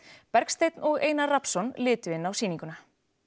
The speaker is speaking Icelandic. Bergsteinn og Einar Rafnsson litu á sýninguna